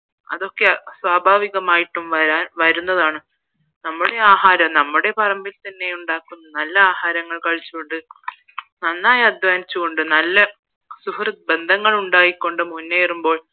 അതൊക്കെ സ്വാഭാവികമായിട്ട് വരാൻ വരുന്നതാണ് നമ്മുടെ ആഹാരം നമ്മുടെ പറമ്പിൽ തന്നെ ഉണ്ടാക്കുന്ന നല്ല ആഹാരങ്ങൾ കഴിച്ചു കൊണ്ട് നന്നായി അധ്വാനിച്ച് കൊണ്ട് നല്ല സുഹൃത്ത് ബന്ധങ്ങൾ ഉണ്ടായിക്കൊണ്ട് മുന്നേറുമ്പോൾ